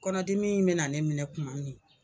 Kɔnɔdimi in bɛ na ne minɛ tuma min